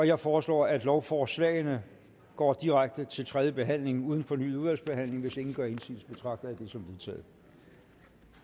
jeg foreslår at lovforslagene går direkte til tredje behandling uden fornyet udvalgsbehandling hvis ingen gør indsigelse betragter jeg det som vedtaget